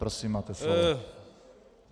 Prosím, máte slovo.